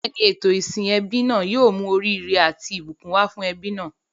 Bẹ́ẹ̀ni, ètò ìsìn ẹbí náà yóò mú oríire àti ìbùkún wá fún ẹbí náà.